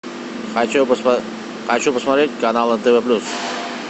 хочу посмотреть канал нтв плюс